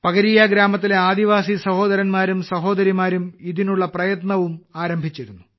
പകരീയ ഗ്രാമത്തിലെ ആദിവാസി സഹോദരന്മാരും സഹോദരിമാരും ഇതിനുള്ള പ്രയത്നവും ആരംഭിച്ചിരുന്നു